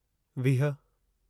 वीह